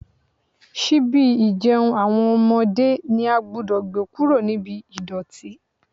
Ṣíbí ìjẹun àwọn ọmọdé ni a gbúdọ̀ gbé kúrò ní ibi ìdọ̀tí.